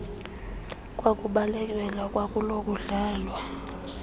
kwakubalekelwa kwakulo kudlalwa